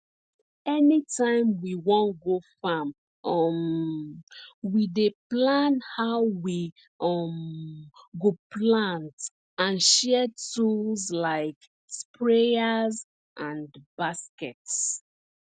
anytime we wan go farm um we dey plan how we um go plant and share tools like sprayers and baskets